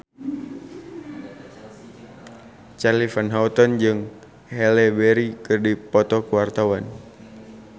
Charly Van Houten jeung Halle Berry keur dipoto ku wartawan